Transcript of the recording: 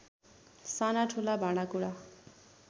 सानाठूला भाँडाकुँडा